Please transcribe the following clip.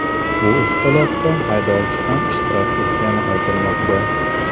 Bu ixtilofda haydovchi ham ishtirok etgani aytilmoqda.